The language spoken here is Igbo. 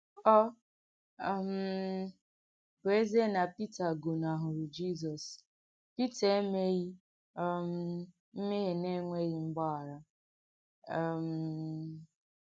Ọ um bù èzíé nà Pìtà gònàhùrù Jízọ̀s̀, Pìtà èmèghì um m̀mèhiè nà-ènwèghì mgbàghàrà. um